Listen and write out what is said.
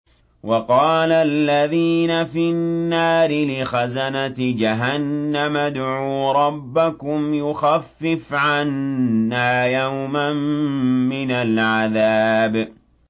وَقَالَ الَّذِينَ فِي النَّارِ لِخَزَنَةِ جَهَنَّمَ ادْعُوا رَبَّكُمْ يُخَفِّفْ عَنَّا يَوْمًا مِّنَ الْعَذَابِ